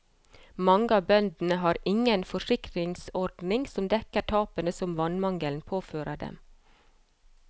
Mange av bøndene har ingen forsikringsordning som dekker tapene som vannmangelen påfører dem.